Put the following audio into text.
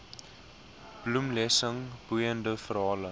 bloemlesing boeiende verhale